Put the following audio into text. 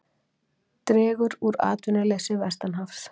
Dregur úr atvinnuleysi vestanhafs